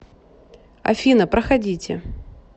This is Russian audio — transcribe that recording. афина проходите